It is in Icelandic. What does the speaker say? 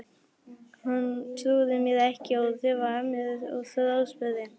Hún trúði mér ekki og þefaði af mér og þráspurði.